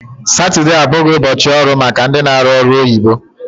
Satude abụghị ụbọchị ọrụ maka ndị na arụ ọrụ oyibo